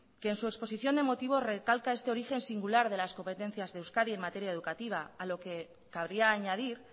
que en su exposición de motivos recalca este origen singular de las competencias de euskadi en materia educativa a lo que cabría añadir